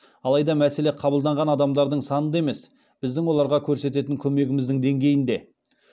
алайда мәселе қабылданған адамдардың санында емес біздің оларға көрсететін көмегіміздің деңгейінде